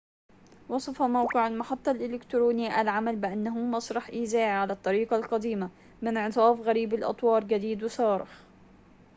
وصف موقع المحطّة الإلكتروني العمل بأنه مسرح إذاعي على الطريقة القديمة بانعطاف غريب الأطوار جديد وصارخ